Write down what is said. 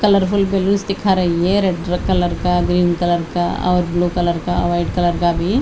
colour full दिखाई री है रेड कलर का ग्रीन कलर का ब्लू कलर का वाइट कलर का भी --